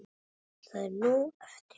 Það er nóg eftir.